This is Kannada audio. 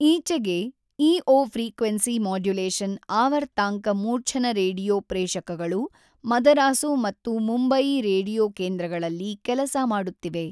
ಈಚೆಗೆ ಈಒ ಫ್ರೀಕ್ವೆನ್ಸಿ ಮಾಡ್ಯುಲೇಶನ್ ಆವರ್ತಾಂಕ ಮೂರ್ಛನ ರೇಡಿಯೊ ಪ್ರೇಷಕಗಳು ಮದರಾಸು ಮತ್ತು ಮುಂಬಯಿ ರೇಡಿಯೊ ಕೇಂದ್ರಗಳಲ್ಲಿ ಕೆಲಸಮಾಡುತ್ತಿವೆ.